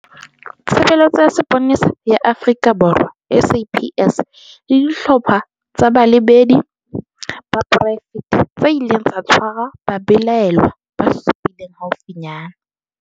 Tshe beletso ya Sepolesa ya Afrika Borwa, SAPS, le dihlopha tsa balebedi ba poraefete tse ileng tsa tshwara babelaellwa ba supileng haufinyane.